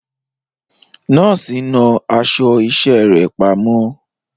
Nọ́ọ̀sì náà aṣọ iṣẹ́ rẹ̀ pamọ́.